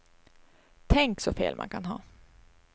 Tänk så fel man kan ha.